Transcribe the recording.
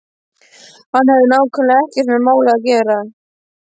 Hann hafði nákvæmlega ekkert með málið að gera.